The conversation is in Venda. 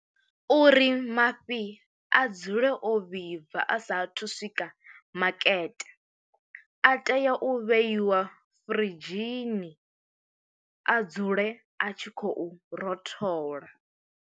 Uri mafhi a dzule o vhibva a sa athu swika makete, a tea u vheiwa fridzhini a dzule a tshi khou rothola.